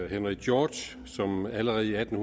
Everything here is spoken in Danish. henry george som allerede i atten